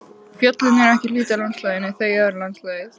Fjöllin eru ekki hluti af landslaginu, þau eru landslagið.